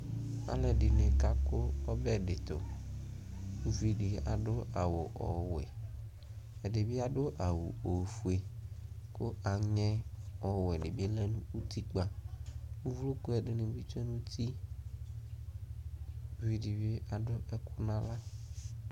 alʋɛdini kakʋ ɔbɛ di tʋ, ʋvidi adʋ awʋ wɛ, ɛdibi adʋ awʋ ɔƒʋɛ kʋ angɛ ɔwɛ dibi lɛnʋ ʋtikpa ʋvlɔkʋ ɛdini bi twɛnʋ ʋti ʋvidi bi adʋ ɛkʋ nʋ ala